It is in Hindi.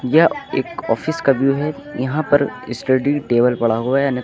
यह एक ऑफिस का व्यू है यहां पर स्टडी टेबल पड़ा हुआ है अन्यथा--